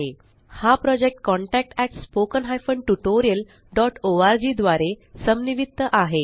हा project contactspoken tutorialorg द्वारे समन्वित आहे